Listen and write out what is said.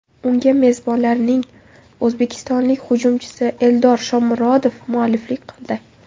Unga mezbonlarning o‘zbekistonlik hujumchisi Eldor Shomurodov mualliflik qildi.